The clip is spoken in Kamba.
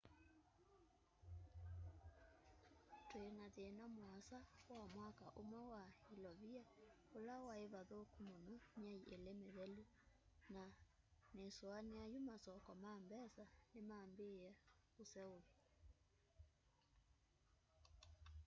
twina thina muasa wa mwaka umwe wa ilovia ula wai vathuku muno myei ili mithelu na nisuania yu masoko ma mbesa nimambiie kuseuva